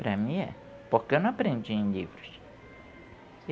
Para mim é. Porque eu não aprendi em livros.